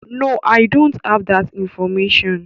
No, I don't have that information.